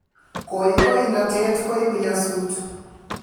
Koikoinatet koibu nyasut